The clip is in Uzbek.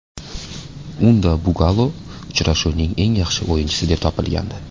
Unda Bugalo uchrashuvning eng yaxshi o‘yinchisi deb topilgandi.